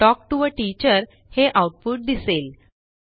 talk टीओ आ teacher हे आऊटपुट दिसेल